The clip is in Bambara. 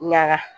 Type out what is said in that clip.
Ɲaga